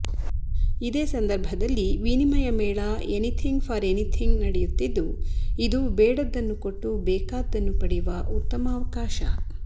ಇದೇ ಸಂದರ್ಭದಲ್ಲಿ ವಿನಿಮಯ ಮೇಳ ಎನಿಥಿಂಗ್ ಫಾರ್ ಎನಿಥಿಂಗ್ ನಡೆಯುತ್ತಿದ್ದು ಇದು ಬೇಡದ್ದನ್ನು ಕೊಟ್ಟು ಬೇಕಾದ್ದನ್ನು ಪಡೆಯುವ ಉತ್ತಮ ಅವಕಾಶ